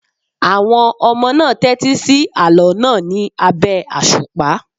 Àwọn ọmọ náà tẹ́tí sí àlọ́ náà ní abẹ́ àṣùpá.